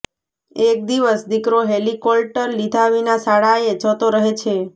એક દિવસ દીકરો હેલીકોલ્ટર લીધા વિના શાળાએ જતો રહે છે